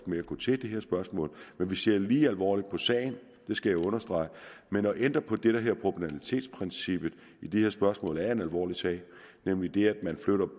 med at gå til det her spørgsmål men vi ser lige alvorligt på sagen det skal jeg understrege men at ændre på det der hedder proportionalitetsprincippet i de her spørgsmål er en alvorlig sag nemlig det at man